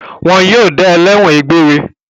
Wọn yóò dá ọ lẹ́ẹ́wọ̀n egbére.